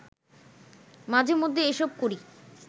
মাঝেমধ্যে এসব করি